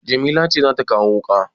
Jamila ce za ta kawo wuƙa?